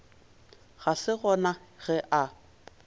ga se gona ge a